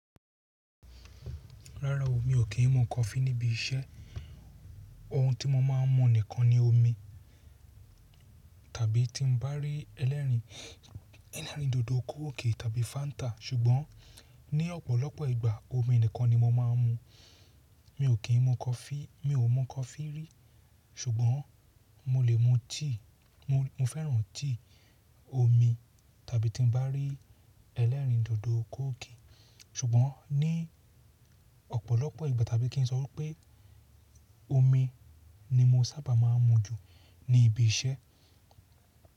Rárá o, mi ò kí n mu coffee ní ibi iṣẹ́. Ohun tí mo máà ń mu nìkan ni omi tàbí tí n bá rí ẹlẹ́rìn, ẹlẹ́rìn dòdò coke tàbí fanta. Ṣùgbọ́n ní ọ̀pọ̀lọpọ̀ ìgbà omi nìkan ni mo máà ń mu. Mi ò kí n mu coffee, mi ò mu coffee rí. Ṣùgbọ́n mo lè mu tea. Mo, mo fẹ́ràn tea, omi tàbí tí n bá rí ẹlẹ́rìn dòdò coke. Ṣùgbọ́n ní ọ̀pọ̀lọpọ̀ ìgbà tàbí kí n sọ pé omi ni mo sábà máà ń mu jù ní ibi iṣẹ́.